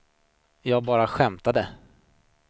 jag bara skämtade